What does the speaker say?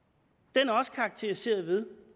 den er også karakteriseret ved